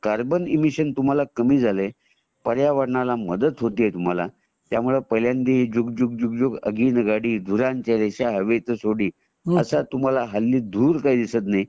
carbon emission तुम्हाला कामी झालंय पर्यावरणाला मदत होते तुम्हाला त्या मुळे पहिल्यांदा आदि झुक झुक अगीनगाडी धूरांच्या रेषा हवेत सोडी आता तुम्हाला हल्ली धूर काही दिसत नाही